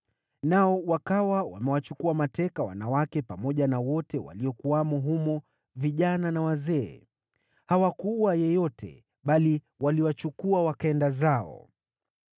nao wakawa wamewachukua mateka wanawake pamoja na wote waliokuwamo humo, vijana na wazee. Hawakuua yeyote, bali waliwachukua wakaenda zao.